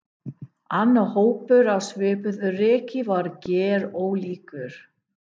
Annar hópur á svipuðu reki var gerólíkur.